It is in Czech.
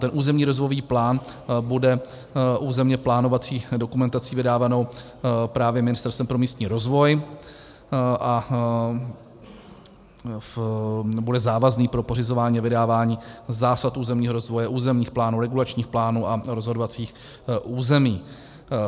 Ten územní rozvojový plán bude územně plánovací dokumentací vydávanou právě Ministerstvem pro místní rozvoj a bude závazný pro pořizování a vydávání zásad územního rozvoje, územních plánů, regulačních plánů a rozhodovacích území.